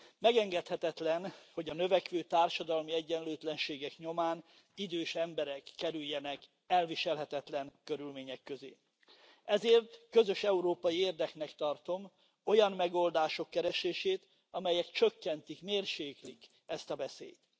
Megengedhetetlen, hogy a növekvő társadalmi egyenlőtlenségek nyomán idős emberek kerüljenek elviselhetetlen körülmények közé, ezért közös európai érdeknek tartom olyan megoldások keresését, amelyek csökkentik, mérséklik ezt a veszélyt.